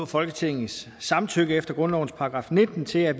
folketingets samtykke efter grundlovens § nitten til at